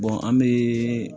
an bɛ